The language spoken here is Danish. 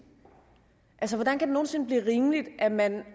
altså hvordan kan det nogen sinde blive rimeligt at man